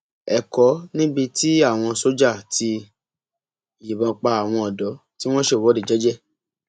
ẹkọ níbi tí àwọn sójà ti yìnbọn pa àwọn ọdọ tí wọn ń ṣèwọde jẹjẹ